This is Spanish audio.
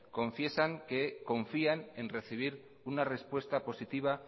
confiesan que confían en recibir una respuesta positiva